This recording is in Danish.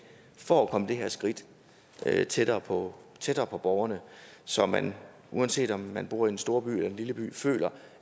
for at komme det her skridt tættere på tættere på borgerne så man uanset om man bor i en storby eller en lille by føler